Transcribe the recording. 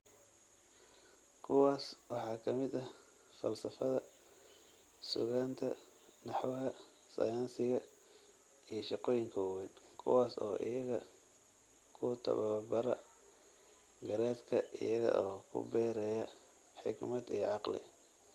Kuwaas waxaa ka mid ah falsafada, suugaanta, naxwaha, sayniska iyo shaqooyinka waaweyn, kuwaas oo, iyaga, ku tababara garaadka iyaga oo ku beeraya xigmad iyo caqli.